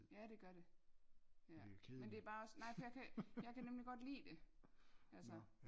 Ja det gør det ja men det er bare også nej for jeg kan jeg kan nemlig godt lide det altså